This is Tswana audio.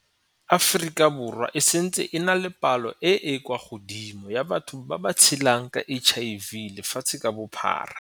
Aforika Borwa e santse e na le palo e e kwa godimo ya batho ba ba tshelang ka HIV lefatshe ka bophara.